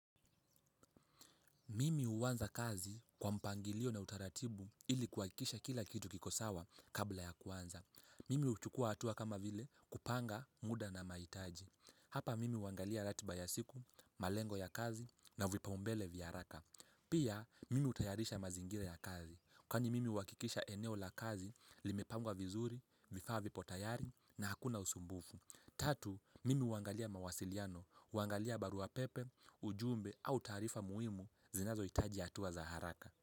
Mimi huanza kazi kwa mpangilio na utaratibu ili kuhakikisha kila kitu kiko sawa kabla ya kuanza. Mimi hujukua hatua kama vile kupanga muda na mahitaji. Hapa mimi huangalia ratiba ya siku, malengo ya kazi na vipaumbele vya haraka. Pia mimi hutayarisha mazingira ya kazi. Kwani mimi huhakikisha eneo la kazi limepangwa vizuri, vifaa vipo tayari na hakuna usumbufu. Tatu, mimi huangalia mawasiliano, huangalia barua pepe, ujumbe au taarifa muhimu zinazoitaji hatua za haraka.